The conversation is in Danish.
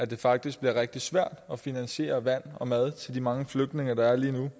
det faktisk rigtig svært at finansiere vand og mad til de mange flygtninge der er lige nu